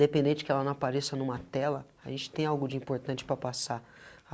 Dependente de que ela não apareça em uma tela, a gente tem algo de importante para passar.